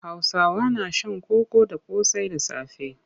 Hausawa na shan koko da ƙosai da safe.